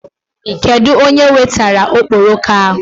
Kedụ onye wetara okporoko ahụ?